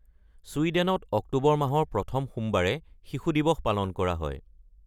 ছুইডেনত October মাহৰ প্ৰথম সোমবাৰে শিশু দিৱস পালন কৰা হয়।